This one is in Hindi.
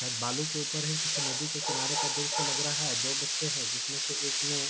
शायद बालो के ऊपर है । किसी नदी के किनारे पर दो बच्चे है । जिसमे से एक ने --